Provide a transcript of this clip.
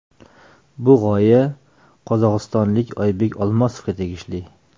Bu g‘oya qozog‘istonlik Oybek Olmosovga tegishli.